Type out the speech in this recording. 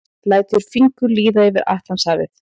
Lætur fingur líða yfir Atlantshafið.